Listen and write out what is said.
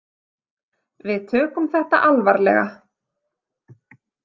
Við tökum þetta alvarlega.